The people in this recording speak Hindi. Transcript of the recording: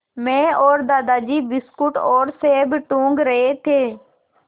मैं और दादाजी बिस्कुट और सेब टूँग रहे थे